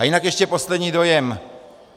A jinak ještě poslední dojem.